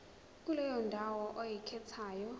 kuleyo ndawo oyikhethayo